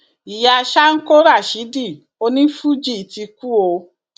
ìyá sanko rásidì onífuji ti kú o